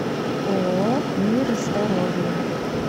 ооо мир здоровья